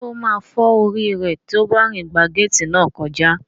Ṣé ó máa fọ́ orí rẹ̀ tí ó bá rìn gba gééti náà kọjá?